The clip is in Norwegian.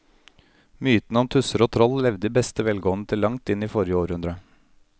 Mytene om tusser og troll levde i beste velgående til langt inn i forrige århundre.